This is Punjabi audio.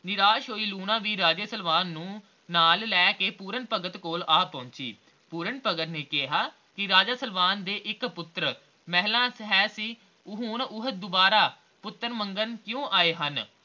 ਨਿਰਾਸ ਹੋਈ ਲੂਣਾ ਵੀ ਰਾਜੇ ਸਲਵਾਨ ਨੂੰ ਨਾਲ ਲੈ ਕੇ ਪੂਰਨ ਭਗਤ ਕੋਲ ਆ ਪਹੁਚੀ ਪੂਰਨ ਭਗਤ ਨੇ ਕਿਹਾ ਕੇ ਰਾਜੇ ਸਲਵਾਨ ਦੇ ਇਕ ਪੁੱਤਰ ਮਹਿਲਾ ਵਿਚ ਹੈ ਸੀ ਹੁਣ ਉਹ ਦੁਬਾਰਾ ਪੁੱਤਰ ਮੰਗਣ ਕਿਉਂ ਆਏ ਹਨ